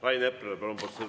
Rain Epler, palun!